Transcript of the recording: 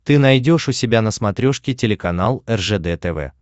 ты найдешь у себя на смотрешке телеканал ржд тв